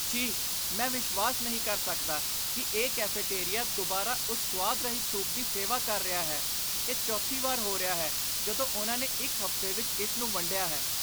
ਛੀ , ਮੈਂ ਵਿਸ਼ਵਾਸ ਨਹੀਂ ਕਰ ਸਕਦਾ ਕਿ ਇਹ ਕੈਫੇਟੇਰੀਆ ਦੁਬਾਰਾ ਉਸ ਸੁਆਦ ਰਹਿਤ ਸੂਪ ਦੀ ਸੇਵਾ ਕਰ ਰਿਹਾ ਹੈ। ਇਹ ਚੌਥੀ ਵਾਰ ਹੋ ਰਿਹਾ ਹੈ ਜਦੋਂ ਉਨ੍ਹਾਂ ਨੇ ਇੱਕ ਹਫ਼ਤੇ ਵਿੱਚ ਇਸ ਨੂੰ ਵੰਡਿਆ ਹੈ।